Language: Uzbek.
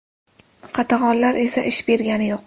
Qatag‘onlar esa ish bergani yo‘q.